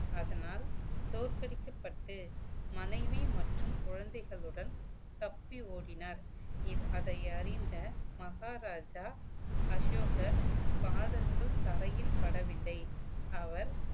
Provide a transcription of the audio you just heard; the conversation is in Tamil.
அதனால் தோற்கடிக்கப்பட்டு மனைவி மற்றும் குழந்தைகளுடன் தப்பி ஓடினார் இத~ அதை அறிந்த மகாராஜா அசோகர் பாதங்கள் தரையில் படவில்லை அவர்